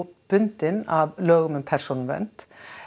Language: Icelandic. bundin af lögum um persónuvernd